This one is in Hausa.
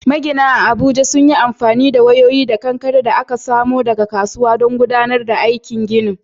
Maginan Abuja sun yi amfani da wayoyi da kankare da aka samo daga kasuwa don gudanar da aikin ginin.